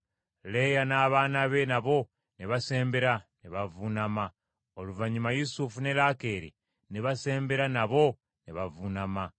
Leeya n’abaana be nabo ne basembera ne bavuunama. Oluvannyuma Yusufu ne Laakeeri ne basembera nabo ne bavuunama.